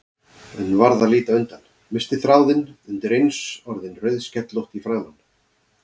En varð að líta undan, missti þráðinn, undireins orðin rauðskellótt í framan.